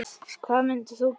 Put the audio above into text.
Hvað mundir þú gera?